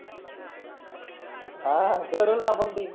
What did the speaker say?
हा भरूणा तीन